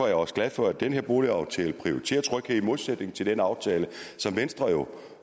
jeg også glad for at den her boligaftale prioriterer tryghed i modsætning til den aftale som venstre